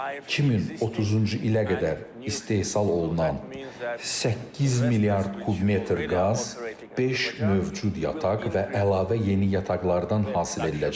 2030-cu ilə qədər istehsal olunan 8 milyard kubmetr qaz beş mövcud yataq və əlavə yeni yataqlardan hasil ediləcəkdir.